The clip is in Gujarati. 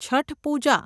છઠ પૂજા